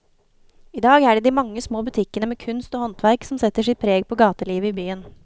I dag er det de mange små butikkene med kunst og håndverk som setter sitt preg på gatelivet i byen.